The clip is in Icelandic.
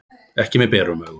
Ekki með berum augum.